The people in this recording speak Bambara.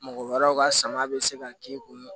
Mɔgɔ wɛrɛw ka sama bɛ se ka k'i kun